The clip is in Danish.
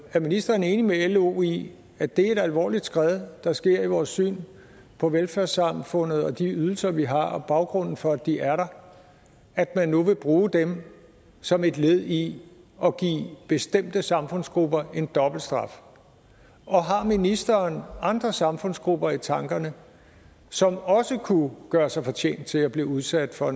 er ministeren enig med lo i at det er et alvorligt skred der sker i vores syn på velfærdssamfundet og de ydelser vi har og baggrunden for at de er der at man nu vil bruge dem som et led i at give bestemte samfundsgrupper en dobbelt straf og har ministeren andre samfundsgrupper i tankerne som også kunne gøre sig fortjent til at blive udsat for